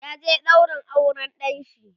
ya je ɗaurin auran ɗanshi